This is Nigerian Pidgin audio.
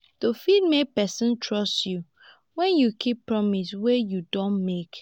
to fit make person trust you when you keep promise wey you don make